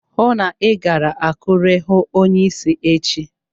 Hụụ na Ị gara Akure hụụ onyeisi echi!